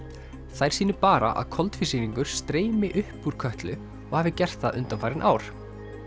þær sýni bara að koltvísýringur streymi upp úr Kötlu og hafi gert það undanfarin ár